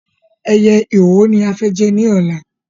Ẹyẹ ìwò ni a fẹ́ jẹ ní ọ̀la